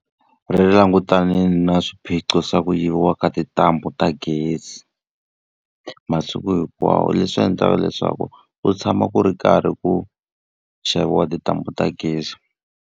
Ri langutane na swiphiqo swa ku yiviwa ka tintambu ta gezi, masiku hinkwawo leswi endlaka leswaku u tshama ku ri karhi ku xaviwa tintambu ta gezi.